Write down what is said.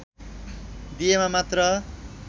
दिएमा मात्र